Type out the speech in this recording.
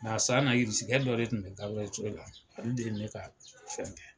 Nga a san na Irisikɛ dɔ de tun bɛ Gaburɛli Ture la , ale de ye ne ka fɛn kɛ.